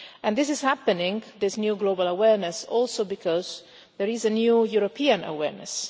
And this is happening, this new global awareness, also because there is a new European awareness.